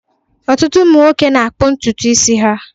Ọtụtụ ụmụ nwoke na-akpụ ntutu isi ha